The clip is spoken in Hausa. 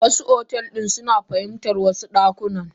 Wasu otel suna fahimtan wasu yan dakuna.